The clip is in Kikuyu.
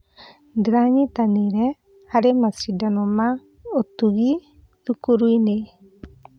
Ndĩranyitanĩire harĩ macindano ma ũtungi thukuru-inĩ.